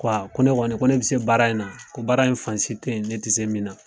Ko a ko ne kɔni ko bi se baara in na ko baara in fansi tɛ yen ne ti se min na